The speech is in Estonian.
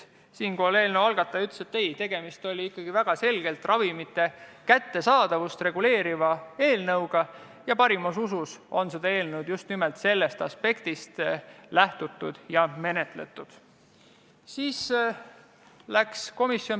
Selle peale ütles eelnõu algataja, et ei, tegemist oli väga selgelt ravimite kättesaadavust reguleeriva eelnõuga ja seda eelnõu on parimas usus just nimelt sellest aspektist lähtuvalt menetletud.